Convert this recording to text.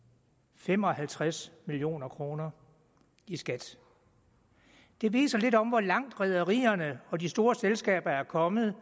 fem og halvtreds million kroner i skat det viser lidt om hvor langt rederierne og de store selskaber er kommet